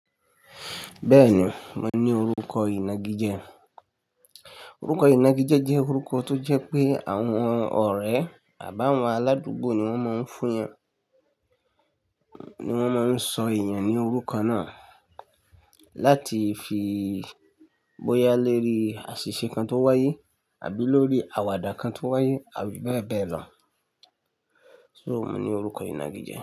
Bẹ́ẹ̀ni, mo ní orúkọ ìnagijẹ. Orúkọ ìnagijẹ jẹ́ orúkọ tó jẹ́ pé àwọn ọ̀rẹ́ àbá àwọn aládùúgbò ni wọ́n máa ń fún yẹn, ni wọ́n máa ń sọ èèyàn ní orúkọ náà láti fi bóyá lórí àṣìṣe kan tó wáyé àbí lórí àwàdà kan tó wáyé àbí bẹ́ẹ̀ bẹ́ẹ̀ lọ. So mo ní orúkọ ìnagijẹ.